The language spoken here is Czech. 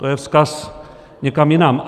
To je vzkaz někam jinam.